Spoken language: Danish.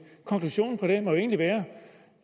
konklusionen på det må jo egentlig være